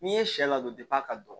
N'i ye sɛ ladon ka don